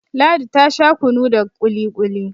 Ladi ta Sha kunu da kili-kuli